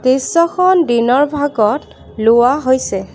দৃশ্যখন দিনৰ ভাগত লোৱা হৈছে।